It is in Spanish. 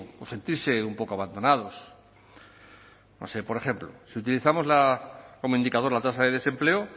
o sentirse un poco abandonados no sé por ejemplo si utilizamos como indicador la tasa de desempleo